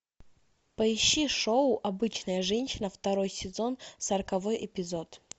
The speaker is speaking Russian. поищи шоу обычная женщина второй сезон сороковой эпизод